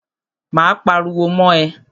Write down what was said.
Máa pariwo mọ́ ẹ.